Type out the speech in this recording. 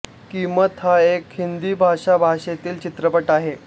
कीमत हा एक हिंदी भाषा भाषेतील चित्रपट आहे